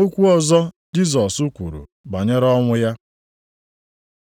Okwu ọzọ Jisọs kwuru banyere ọnwụ ya